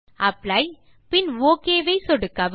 apply பின் okay ஐ சொடுக்கவும்